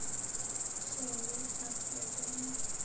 segir Páll Gunnar.